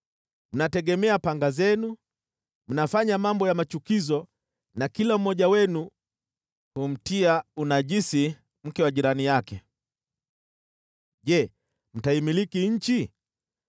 Mnategemea panga zenu, mnafanya mambo ya machukizo na kila mmoja wenu humtia unajisi mke wa jirani yake. Je, mtaimiliki nchi?’